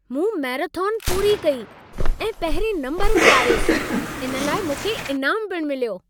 मूं मैराथन पूरी कई ऐं पहिरिएं नम्बर ते आयुसि। इन लाइ मूंखे इनामु पिणु मिलियो।